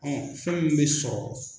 Fɛn min bɛ sɔrɔ.